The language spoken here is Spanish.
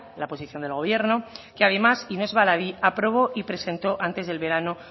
la posición del gobierno que además y no es baladí aprobó y presentó antes del verano